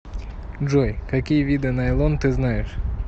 джой какие виды найлон ты знаешь